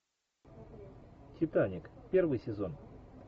титаник первый сезон